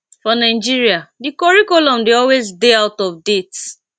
for nigeria di curriculum dey always dey out of date